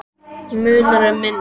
Munar um minna.